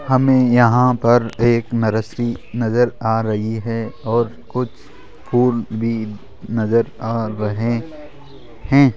हमें यहां पर एक नर्सरी नजर आ रही है और कुछ फूल भी नजर आ रहे हैं।